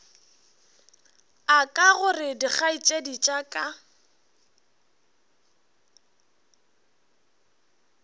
aka gore dikgaetšedi tša ka